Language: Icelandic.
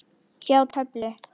Sjá töflu.